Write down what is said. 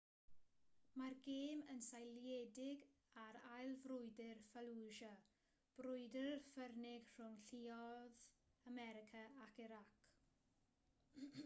mae'r gêm yn seiliedig ar ail frwydr fallujah brwydr ffyrnig rhwng lluoedd america ac irac